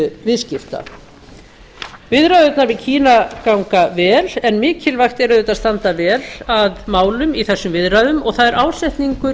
viðskipta viðræðurnar við kína ganga vel en mikilvægt er að standa vel að málum í þessum viðræðunum og það er ásetningur